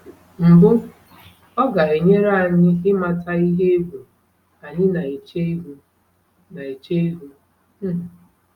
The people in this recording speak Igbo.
Mbụ, ọ ga-enyere anyị ịmata ihe egwu anyị na-eche ihu. na-eche ihu. um